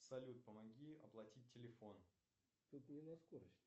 салют помоги оплатить телефон